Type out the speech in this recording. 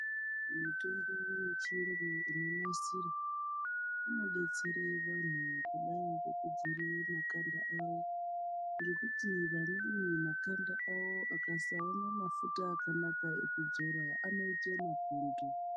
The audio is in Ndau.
Mitombo yechiyungu inonasirwe, inobetsera anhu kudai nekuagadzirire makanda awo ngekuti vamweni makanda awo akasaone mafuta akanaka ekudzora anoite mapundu.